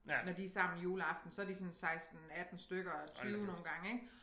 Når de sammen juleaften så de sådan 16 18 stykker 20 nogle gange ik